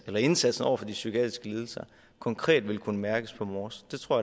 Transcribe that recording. og indsatsen over for de psykiatriske lidelser konkret vil kunne mærkes på mors det tror